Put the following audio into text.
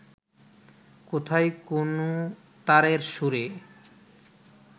কোথায় কোন তারের সুরে